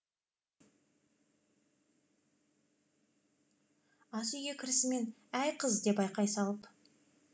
асүйге кірісімен әй қыз деді айқай салып